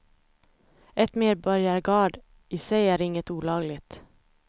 Ett medborgargarde i sig är inget olagligt.